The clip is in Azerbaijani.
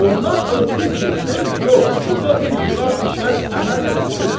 Ondan ötrü ki, söz yox, burda bir xilaf-i şər əməl yoxdur.